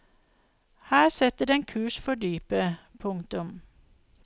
Her setter den kurs for dypet. punktum